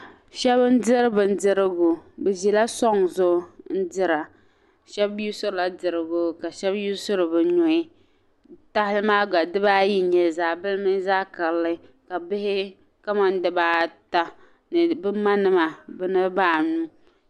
Shabi n diri bin dirigu bi ʒila sɔŋ zuɣu n dira shabi yuusorila dirigu n dira ka shabi mi yiɣisiri bɛ nuhi n dira, tahali maa gba dibaa yi n nyɛli zaɣibili mini zaɣi karili ka bihi ka man diba ata ni bi ma nima niribi anu,